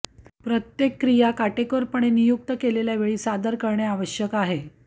प्रत्येक क्रियी काटेकोरपणे नियुक्त केलेल्या वेळी सादर करणे आवश्यक आहे